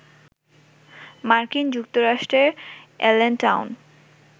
মার্কিন যুক্তরাষ্ট্রের এলেনটাউন,